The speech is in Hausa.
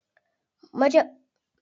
Mace baza ta iya auren maza biyu ba a musulunci.